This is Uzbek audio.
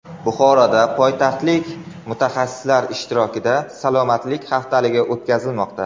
Buxoroda poytaxtlik mutaxassislar ishtirokida salomatlik haftaligi o‘tkazilmoqda.